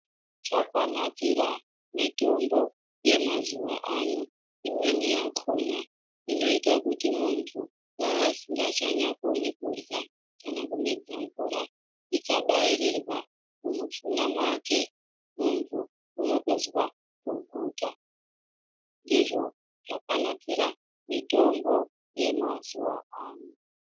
Chakanakira mitombo yemazuwa ano, imweni yakhona inoita kuti muntu dai asinganyakoni kudyra kana kumedza mvura. Ikabairirwa mumushuna mwake muntu unotozwa kuguta. Ndizvo zvakanakira mutombo yemazuwa ano.